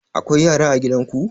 Akwai yara a gidan ku?